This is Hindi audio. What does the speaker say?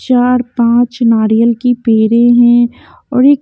चार पाँच नारियल की पेरे हैं और एक --